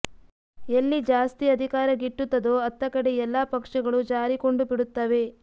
ಎಲ್ಲಿ ಜಾಸ್ತಿ ಅಧಿಕಾರ ಗಿಟ್ಟುತ್ತದೊ ಅತ್ತ ಕಡೆ ಎಲ್ಲಾ ಪಕ್ಷಗಳು ಜಾರಿಕೊಂಡುಬಿಡುತ್ತವೆ